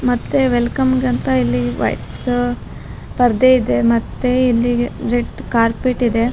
ಮತ್ತೆ ವೆಲ್ಕಮ್ಗಂತ ಇಲ್ಲಿ ವೈಟ್ಸ್ ಪರ್ದೆ ಇದೆ ಮತ್ತೆ ಇಲ್ಲಿಗ್ ಜೆಟ್ ಕಾರ್ಪೆಟ್ ಇದೆ.